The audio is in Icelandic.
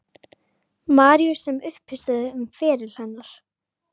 Maríu sem uppistöðu um feril hennar.